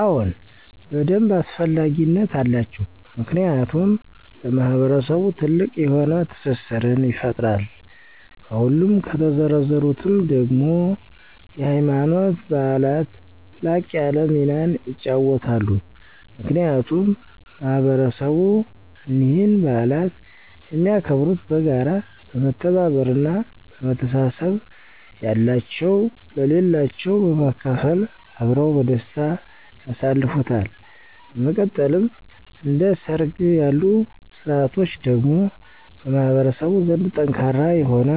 አዎን በደንብ አስፈላጊነት አላቸው። ምክንያቱም ለማህበረሰቡ ትልቅ የሆነ ትስስርን ይፈጥራል፤ ከሁሉም ከተዘረዘሩትም ደግሞ የሀይማኖት በዓላት ላቅ ያለ ሚናን ይጫወታሉ። ምክንያቱም ማህበረሰብ እኒህን በዓላት የሚያከብሩት በጋራ፣ በመተባበር እና በመተሳሰብ፤ ያላቸው ለሌላቸው በማካፈል አብረው በደስታ ያሳልፉታል። በመቀጠልም እንደ ሠርግ ያሉ ስርዓቶች ደግሞ በማህበረሰቡ ዘንድ ጠንካራ የሆነ